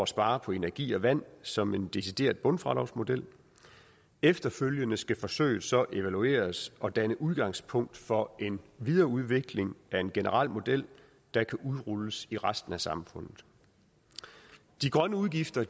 spare på energi og vand som en decideret bundfradragsmodel efterfølgende skal forsøget så evalueres og danne udgangspunkt for en videreudvikling af en generel model der kan udrulles i resten af samfundet de grønne afgifter